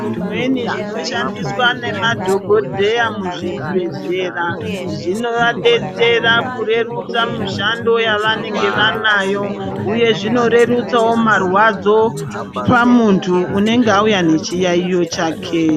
Zvimweni zvinoshandiswa nemadhogodheya muzvibhedhlera zvinovabetsera kurerutsa mushando yavanonge vanayo huye zvinorerutsawo marwadzo pamunthu unonga auya nechiyayiyo chake.